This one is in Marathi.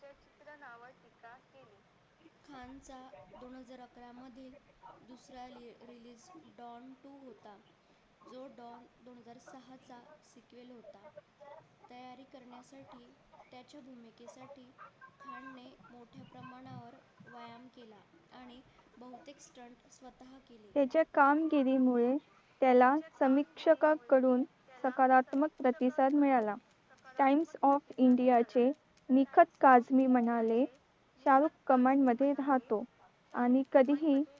त्याच्या कामगिरीमुळे त्याला समीक्षकाकडून सकारात्मक प्रतिसाद मिळाला times of india चे निखत काझमी म्हणाले south command मध्ये राहतो आणि कधीही